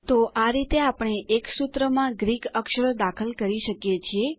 તો આ રીતે આપણે એક સૂત્રમાં ગ્રીક અક્ષરો દાખલ કરી શકીએ છીએ